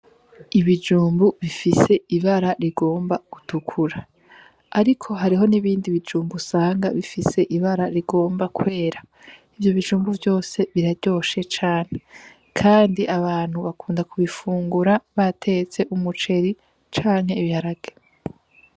Ibijumbu bifise ibara rigomba gutukura, ariko hariho n'ibindi bijumbu usanga bifise ibara rigomba kwera ivyo bijumbu vyose biraryoshe cane, kandi abantu bakunda kubifungura batetse umuceri canke ibiharage.